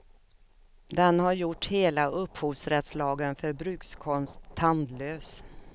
Den har gjort hela upphovsrättslagen för brukskonst tandlös.